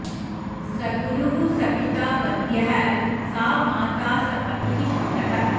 स गुरुः स पिता वन्द्यः सा माता स पतिः सुतः